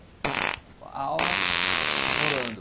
A aula rolando.